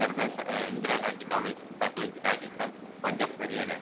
சர்தார் இந்திரா காந்தி கால்வாய் திட்டம் பஞ்சாப் ஹரியானா